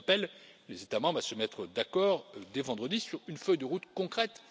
J'appelle les États membres à se mettre d'accord dès vendredi sur une feuille de route concrète.